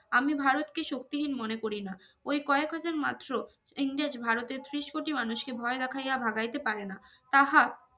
আমি ভারতকে শক্তিহীন মনে করি না ওই কয়েক হাজার মাত্র ইংরেজ ভারতের ত্রিশ কোটি মানুষকে ভয় দেখাইয়া ভাগাইতে পারে না তাহা